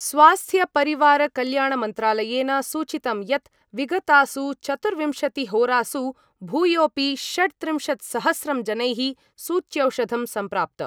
स्वास्थ्यपरिवारकल्याणमन्त्रालयेन सूचितं यत् विगतासु चतुर्विंशतिहोरासु भूयोपि षड्त्रिंशत्सहस्रं जनैः सूच्यौषधं संप्राप्त।